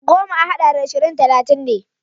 Goma a haɗa da ashirin talatin ne.